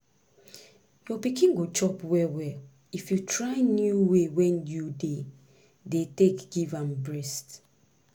your pikin go chop well well if you try new way wey you dey dey take give am breast